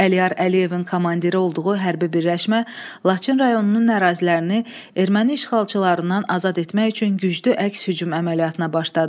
Əliyar Əliyevin komandiri olduğu hərbi birləşmə Laçın rayonunun ərazilərini erməni işğalçılarından azad etmək üçün güclü əks hücum əməliyyatına başladı.